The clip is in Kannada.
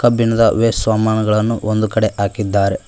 ಬಿಣದ ವೆ ಸ್ವಾಮಾನುಗಳನ್ನು ಒಂದು ಕಡೆ ಹಾಕಿದ್ದಾರೆ.